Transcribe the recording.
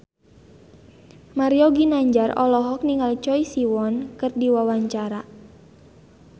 Mario Ginanjar olohok ningali Choi Siwon keur diwawancara